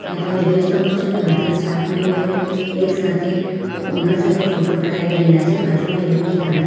તમે જોઈ શકો છો કે બધા સ્ટાફ મેમ્બરો એક સાથે ઓનર સાથે ફોટો પડાવી રહેલા છે બાજુમાં એ લોકની કાર છે.